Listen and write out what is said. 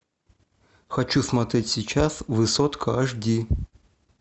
хочу смотреть сейчас высотка аш ди